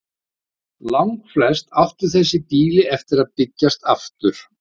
Langflest áttu þessi býli eftir að byggjast aftur.